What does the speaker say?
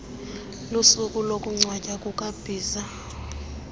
lusuku lokungcwatywa kukabhiza